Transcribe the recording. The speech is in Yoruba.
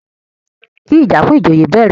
kí ìjà fún ìjòyè bẹ̀rẹ̀!